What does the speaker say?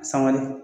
Sangale